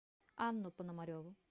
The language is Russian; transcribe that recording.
анну пономареву